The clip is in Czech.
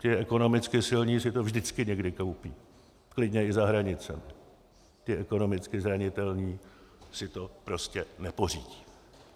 Ti ekonomicky silní si to vždycky někde koupí, klidně i za hranicemi, ti ekonomicky zranitelní si to prostě nepořídí.